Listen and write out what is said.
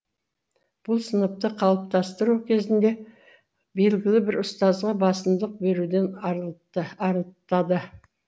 бұл сыныпты қалыптастыру кезінде белгілі бір ұстазға басымдық беруден арылтады